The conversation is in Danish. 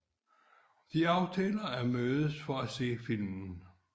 De aftaler at mødes for at se filmen